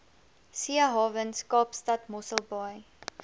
seehawens kaapstad mosselbaai